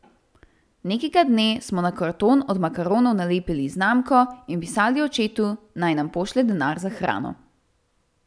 Nekega dne smo na karton od makaronov nalepili znamko in pisali očetu, naj nam pošlje denar za hrano.